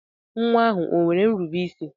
Nwa ahụ o nwere nrube isi?